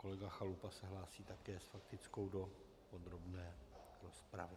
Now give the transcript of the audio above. Kolega Chalupa se hlásí také s faktickou do podrobné rozpravy.